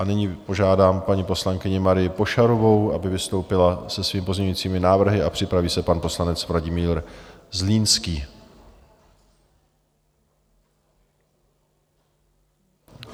A nyní požádám paní poslankyni Marii Pošarovou, aby vystoupila se svými pozměňujícími návrhy, a připraví se pan poslanec Vladimír Zlínský.